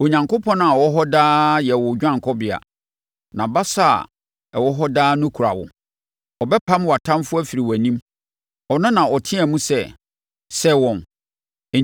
Onyankopɔn a ɔwɔ hɔ daa yɛ wo dwanekɔbea; nʼabasa a ɛwɔ hɔ daa no kura wo. Ɔbɛpam wʼatamfoɔ afiri wʼanim; Ɔno na ɔteaam sɛ, ‘Sɛe wɔn!’